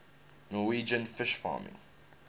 norwegian fish farming